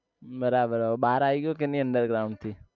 બરાબર હવે બાર આવી ગયો કે નહી underground થી